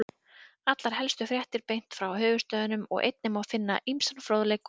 Allar helstu fréttir beint frá höfuðstöðvunum og einnig má finna ýmsan fróðleik og myndir.